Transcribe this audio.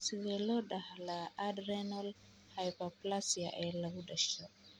Sidee loo dhaxlaa adrenal hyperplasia ee lagu dhasho?